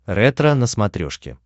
ретро на смотрешке